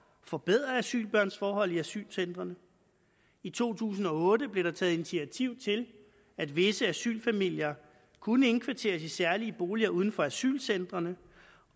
forbedre asylbørns forhold i asylcentrene i to tusind og otte blev der taget initiativ til at visse asylfamilier kunne indkvarteres i særlige boliger uden for asylcentrene